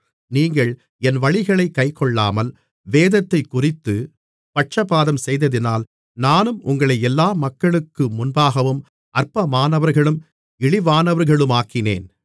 நீங்கள் என் வழிகளைக் கைக்கொள்ளாமல் வேதத்தைக்குறித்துப் பட்சபாதம்செய்ததினால் நானும் உங்களை எல்லா மக்களுக்கு முன்பாகவும் அற்பமானவர்களும் இழிவானவர்களுமாக்கினேன்